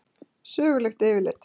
Sögulegt yfirlit.